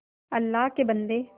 अल्लाह के बन्दे